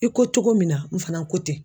I ko cogo min na n fana ko ten.